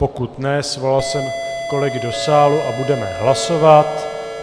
Pokud ne, svolal jsem kolegy do sálu a budeme hlasovat.